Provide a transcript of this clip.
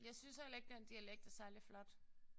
Jeg synes heller ikke den dialekt er særlig flot